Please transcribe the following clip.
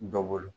Dɔ bolo